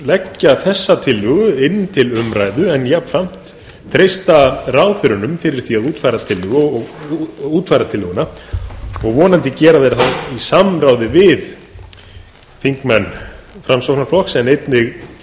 leggja þessa tillögu inn til umræðu en jafnframt treysta ráðherrunum fyrir því að útfæra tillöguna og vonandi gera það í samráði við þingmenn framsóknarflokks en einnig